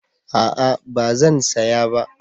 A'a ba zan saya ba